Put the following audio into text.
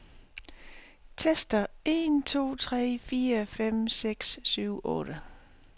Tester en to tre fire fem seks syv otte.